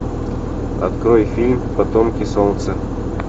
открой фильм потомки солнца